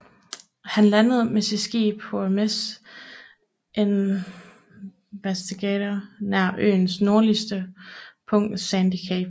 Han landede med sit skib HMS Investigator nær øens nordligste punkt Sandy Cape